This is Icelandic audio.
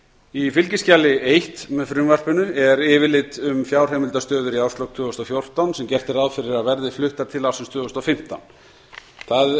í fylgiskjali eitt með frumvarpinu er yfirlit um fjárheimildastöður í árslok tvö þúsund og fjórtán sem gert er ráð fyrir að verði fluttar til ársins tvö þúsund og fimmtán það